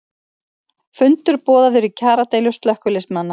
Fundur boðaður í kjaradeilu slökkviliðsmanna